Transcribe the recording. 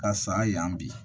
Ka san yan bi